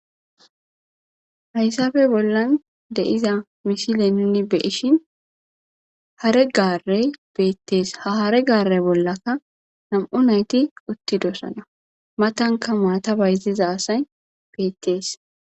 Haysappe bollan di'ya misile nuni xeellishin hare gaarey beetees. Ha hare gaare bollanka nam'u nayti uttidosona. Matanka maata bayziza asay beetees.